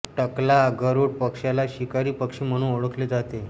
टकला गरुड पक्षाला शिकारी पक्षी म्हणून ओळखले जाते